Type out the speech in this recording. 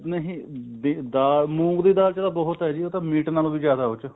ਦਾਲ ਮੂੰਗ ਦੇ ਦਾਲ ਚ ਤਾਂ ਬਹੁਤ ਹੈ ਜੀ ਉਹ ਤਾਂ ਮੀਟ ਨਾਲੋਂ ਜਿਆਦਾ ਉਹ ਚ